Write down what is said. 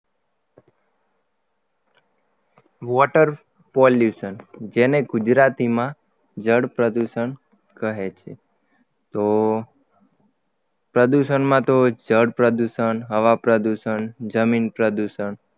Water pollution જેને ગુજરાતીમાં જળ પ્રદૂષણ કહે છે તો પ્રદૂષણમાં તો જળ પ્રદૂષણ હવા પ્રદુષણ જમીન પ્રદૂષણ